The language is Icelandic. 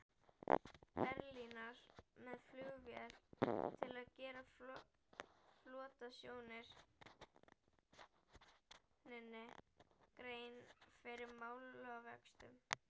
Berlínar með flugvél til að gera flotastjórninni grein fyrir málavöxtum.